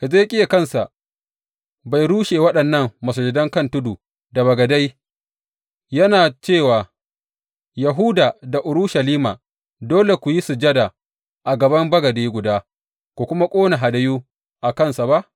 Hezekiya kansa bai rushe waɗannan masujadan kan tudu da bagadai, yana ce wa Yahuda da Urushalima, Dole ku yi sujada a gaban bagade guda ku kuma ƙone hadayu a kansa ba’?